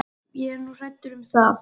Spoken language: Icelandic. Ég er nú hræddur um það!